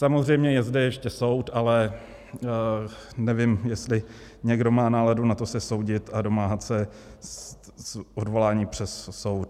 Samozřejmě je ze ještě soud, ale nevím, jestli někdo má náladu na to se soudit a domáhat se odvolání před soud.